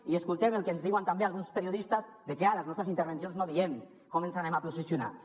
i escoltant el que ens diuen també alguns periodistes de que a les nostres intervencions no diem com ens posicionarem